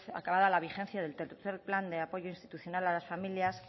acabada la vigencia del tercero plan de apoyo institucional a las familias